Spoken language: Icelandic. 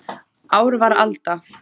Ár var alda